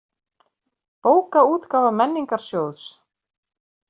Bókaútgáfa Menningarsjóðs.